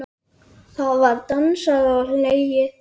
Það var dansað og hlegið.